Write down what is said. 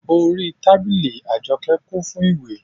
Orí tábìlì Àjọkẹ́ kún fún ìwé